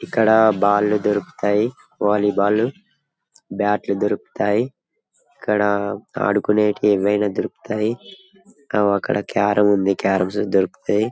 ఇక్కడ బాల్ లు దొరుకుతాయి వలీ బాల్ బాట్ లు దొరుకుతాయి ఇక్కడ ఆడుకునేవి ఏవైనా దొరుకుతాయి అగొ అక్కడ కార్రమ్ ఉంది క్యారం దొరుకుతాయి .